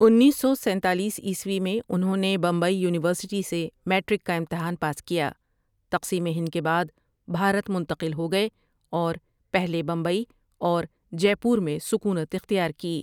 انیس سو سینتالیس عیسوی میں انہوں نے بمبئی یونیورسٹی سے میٹرک کا امتحان پاس کیا تقسیم ہند کے بعد بھارت منتقل ہوگئے اور پہلے بمبئی اور جے پور میں سکونت اختیار کی ۔